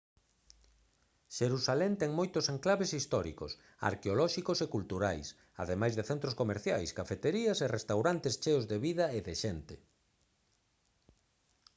xerusalén ten moitos enclaves históricos arqueolóxicos e culturais ademais de centros comerciais cafeterías e restaurantes cheos de vida e de xente